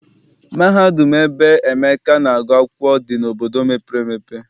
Mahadum ebe Emeka na-agụ akwụkwọ dị n'obodo mepere emepe.